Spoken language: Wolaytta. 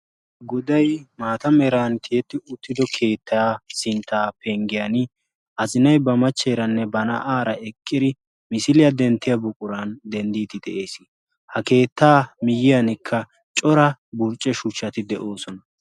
goday maata merantiyetti uttido keettaa sinttaa penggiyan azinay ba machcheeranne ba na'aara eqqidi misiliyaa denttiya buquran denddiiti de'ees ha keettaa miyyiyankka cora burcce shuchchati de'oosona